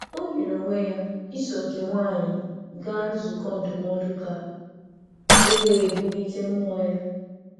O nyere onwe ya iso nke nwaanyị gaa nzukọ ndụmọdụ ka e wee bulite mmụọ ya.